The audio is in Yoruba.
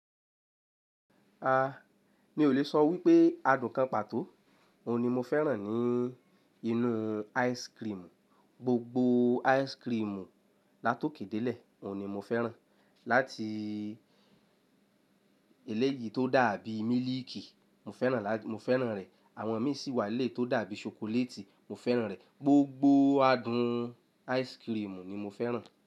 A, mi ò lè sọ wípé adùn kan pàtó, òun ni mo fẹ́ràn ní inú ice cream. Gbogbo ice cream láto kédé lé, òun ni mo fẹ́ràn. Láti eléyì tó dàbí mílìkì, mo fẹ́ràn, mo fẹ́ràn rẹ̀. Àwọn mi sì wà eléyìí tó dàbí chocolate, mo fẹ́ràn ẹ̀. Gbogbo adùn ice cream ni mo fẹ́ràn.